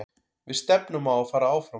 Við stefnum á að fara áfram.